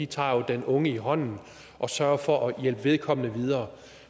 tager den unge i hånden og sørger for at hjælpe vedkommende videre